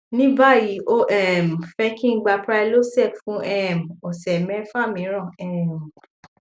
ní báyìí ó um fẹ kí n gba prylosec fún um ọsẹ mẹfà míràn um